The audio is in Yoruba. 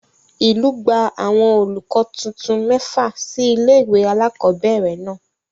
Ìlú gbà àwọn olùkọ́ titun mẹ́fà sí ilé ìwé alákọ̀ọ́bẹ̀rẹ̀ náà.